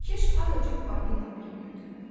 Kiş azacıq balina piyi götürdü.